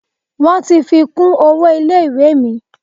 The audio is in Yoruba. Wọ́n ti fi kún owó ilé ìwé mi.